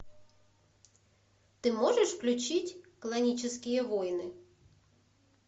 ты можешь включить клонические войны